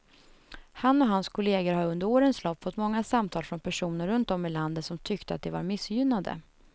Han och hans kolleger har under årens lopp fått många samtal från personer runt om i landet som tyckte att de var missgynnade.